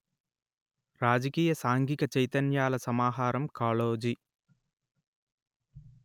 రాజకీయ సాంఘిక చైతన్యాల సమాహారం కాళోజి